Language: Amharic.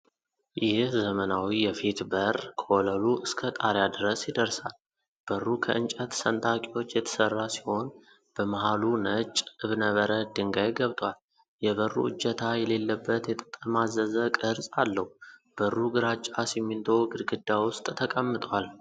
ይህ ዘመናዊ የፊት በር ከወለሉ እስከ ጣሪያ ድረስ ይደርሳል። በሩ ከእንጨት ሰንጣቂዎች የተሠራ ሲሆን፣ በመሃሉ ነጭ እብነበረድ ድንጋይ ገብቷል። የበሩ እጀታ የሌለበት የተጠማዘዘ ቅርጽ አለው። በሩ ግራጫ ሲሚንቶ ግድግዳ ውስጥ ተቀምጧል።